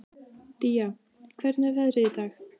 Día, hvernig er veðrið í dag?